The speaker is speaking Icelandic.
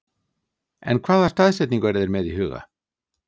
En hvaða staðsetningu eru þeir með í huga?